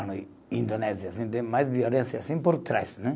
Indonésia assim tem mais violência assim por trás, né.